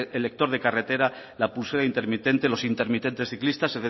el lector de carretera la pulsera intermitente los intermitentes ciclistas